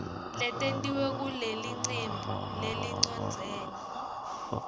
letentiwe ngulelicembu lelicondzene